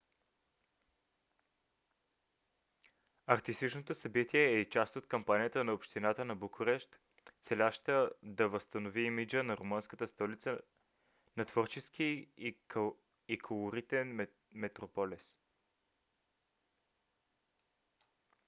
артистичното събитие е и част от кампанията на общината на букурещ целяща да възстанови имиджа на румънската столица на творчески и колоритен метрополис